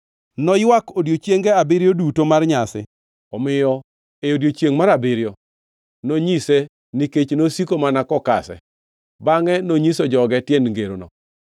Noywak odiechienge abiriyo duto mar nyasi. Omiyo e odiechiengʼ mar abiriyo nonyise, nikech nosiko mana kokase. Bangʼe nonyiso joge tiend ngerono.